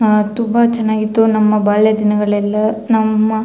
ಅಹ್ ತುಂಬಾ ಚನ್ನಾಗಿತ್ತು ನಮ್ಮ ಬಾಲ್ಯ ದಿನಗಳೆಲ್ಲಾ ನಮ್ಮ --